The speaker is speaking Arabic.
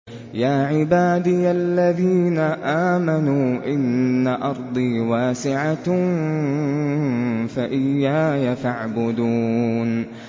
يَا عِبَادِيَ الَّذِينَ آمَنُوا إِنَّ أَرْضِي وَاسِعَةٌ فَإِيَّايَ فَاعْبُدُونِ